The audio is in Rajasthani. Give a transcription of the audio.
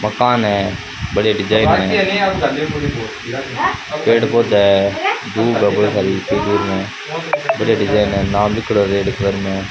मकान है बड़िया डिजाइन है पेड़ पौधा है डिजाइन है नाम लिखोडा घर में रेड कलर में।